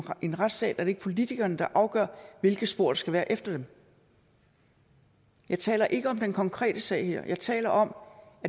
en retsstat er det ikke politikerne der afgør hvilke spor der skal være efter dem jeg taler ikke om den konkrete sag her jeg taler om